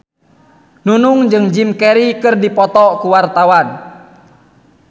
Nunung jeung Jim Carey keur dipoto ku wartawan